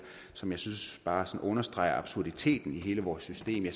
som jeg synes bare sådan understreger absurditeten i hele vores system